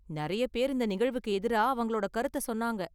நிறைய பேர் இந்த நிகழ்வுக்கு எதிரா அவங்களோட கருத்த சொன்னாங்க.